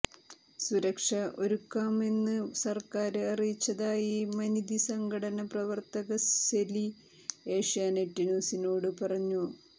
സുരക്ഷ ഒരുക്കാമെന്ന് സര്ക്കാര് അറിയിച്ചതായി മനിതി സംഘടന പ്രവര്ത്തക സെല്വി ഏഷ്യാനെറ്റ് ന്യൂസിനോട് പറഞ്ഞു